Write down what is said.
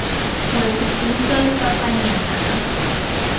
wetse ke utlwa letsapanyana ga